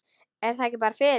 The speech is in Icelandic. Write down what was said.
Er ég ekki bara fyrir?